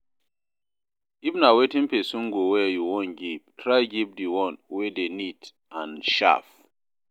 If na wetin persin go wear you won give try give di one wey de neat and sharp